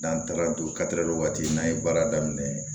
N'an taara dugu kadɛrɛ waati n'an ye baara daminɛ